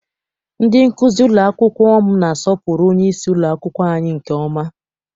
Ndị nkụzi ụlọ akwụkwọ m na-asọpụrụ onyeisi ụlọakwụkwọ anyị nke ọma.